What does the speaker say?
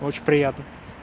очень приятно